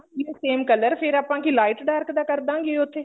same color ਤਾਂ ਫੇਰ ਆਪਾਂ ਕਿ light dark ਦਾ ਕਰਦਾਂਗੇ ਉੱਥੇ